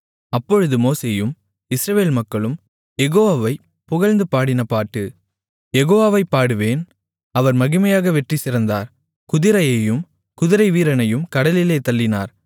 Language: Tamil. அப்பொழுது மோசேயும் இஸ்ரவேல் மக்களும் யெகோவாவைப் புகழ்ந்துபாடின பாட்டு யெகோவாவைப் பாடுவேன் அவர் மகிமையாக வெற்றி சிறந்தார் குதிரையையும் குதிரைவீரனையும் கடலிலே தள்ளினார்